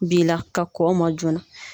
Bi la, ka kɔn o ma joona.